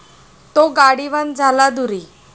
तो गाडीवान झाला दूरी ।